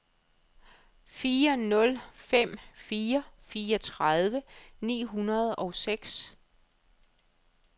fire nul fem fire fireogtredive ni hundrede og seks